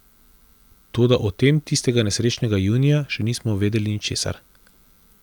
Toda o tem tistega nesrečnega junija še nismo vedeli ničesar.